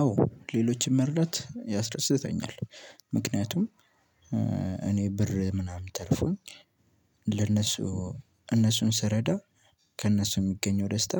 አዎ ሌሎችን መርዳት ያስደስተኛል ምክንያቱም እኔ ብር ምናምን ተርፎኝ ለነሱ እነሱን ስረዳ ከነሱ የሚገኘው ደስታ